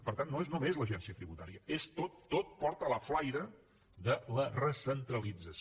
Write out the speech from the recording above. per tant no és només l’agència tributària és tot tot porta la flaire de la recentralització